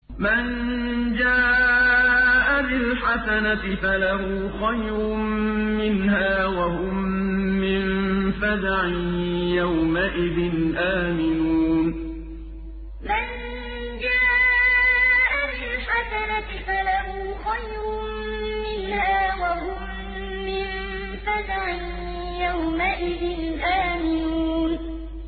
مَن جَاءَ بِالْحَسَنَةِ فَلَهُ خَيْرٌ مِّنْهَا وَهُم مِّن فَزَعٍ يَوْمَئِذٍ آمِنُونَ مَن جَاءَ بِالْحَسَنَةِ فَلَهُ خَيْرٌ مِّنْهَا وَهُم مِّن فَزَعٍ يَوْمَئِذٍ آمِنُونَ